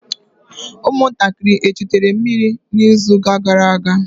ụmụntakịrị echutere mmiri n'izuụka gara aga?